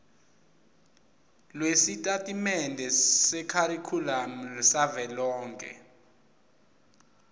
lwesitatimende sekharikhulamu savelonkhe